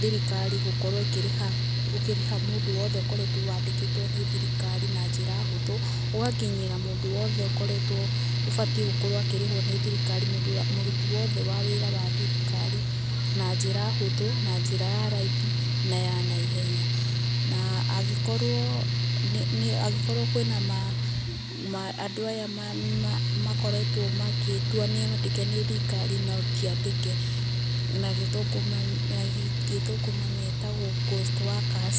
thirikari gũkorwo ikĩrĩha, ũkĩrĩha mũndũ wothe ũkoretwo wandĩkĩtwo ni thirikari na njira hũthũ. ũgakinyĩra mũndũ wothe ũkoretwo, ũbatiĩ gũkorwo akĩrĩhwo nĩ thirikari, mũrũti wothe wa wĩra wa thirikari na njĩra hũthũ na njĩra ya raithi na ya naihenya. Na angĩkorwo kwina andũ aya makorwto magĩtua nĩ andĩke nĩ thirikari no tiandĩke, na gĩthũngũ metagwo ghost workers,